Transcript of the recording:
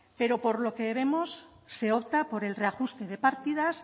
pero por lo que vemos se opta por el reajuste de partidas